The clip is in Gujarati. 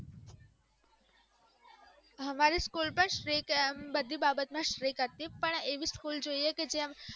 અમારે school તો બધી બાબતો માં strict હતી પણ એવી school જોઈએ કે જેમ